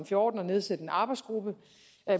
fjorten at nedsætte en arbejdsgruppe